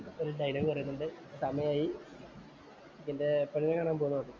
ഒരു ഡയലോഗ് പറയുന്നുണ്ട്. സമയായി. എനിക്കെന്‍റെ പെണ്ണ് കാണാന്‍ പോണംന്ന്.